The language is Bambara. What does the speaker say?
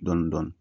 Dɔɔnin dɔɔnin